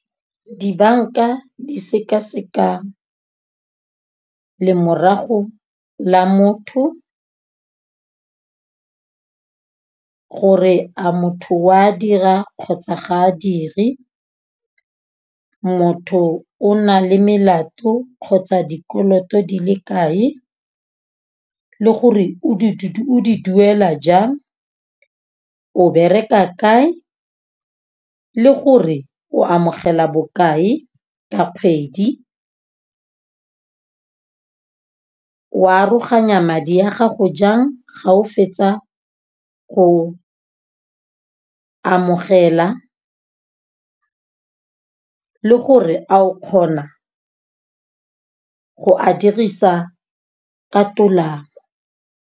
Dibanka di sekaseka lemorago la motho. Gore a motho wa dira kgotsa ga a dire. Motho o na le melato kgotsa dikoloto di le kae le gore o o di duela jang. O bereka kae le gore o amogela bokae ka kgwedi. O aroganya madi a gago jang ga o fetsa go o amogela le gore a o kgona go a dirisa ka tolamo.